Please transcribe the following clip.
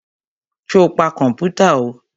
Sọ pa kọ̀mpútà o?